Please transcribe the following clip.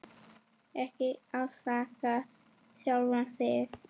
Ekki ásaka sjálfan þig.